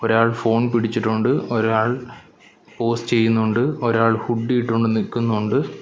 ഒരാൾ ഫോൺ പിടിച്ചിട്ടൊണ്ട് ഒരാൾ പോസ് ചെയ്യുന്നൊണ്ട് ഒരാൾ ഹുഡ്ഡി ഇട്ടോണ്ട് നിക്കുന്നൊണ്ട്.